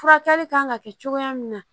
Furakɛli kan ka kɛ cogoya min na